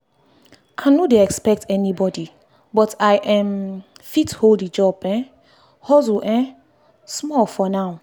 i no dey expect anybody but i um fit hold the job um hustle um small for now.